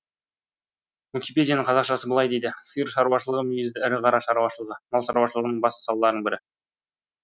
уикипедияның қазақшасы былай дейді сиыр шаруашылығы мүйізді ірі қара шаруашылығы мал шаруашылығының басты салаларының бірі